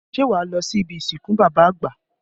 Ṣé wá lọ sí ibi ìsìnkú bàbá àgbà?